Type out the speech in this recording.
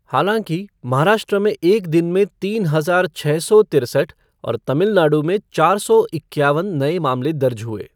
हालांकि, महाराष्ट्र में एक दिन में तीन हजार छः सौ तिरसठ और तमिलनाडु में चार सौ इक्यावन नए मामले दर्ज हुए।